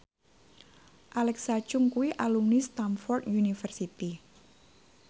Alexa Chung kuwi alumni Stamford University